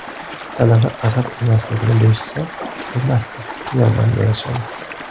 Talaba arab emasligini bilishsa, albatta, yordam berishadi.